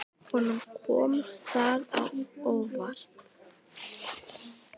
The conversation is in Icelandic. Honum kom það á óvart.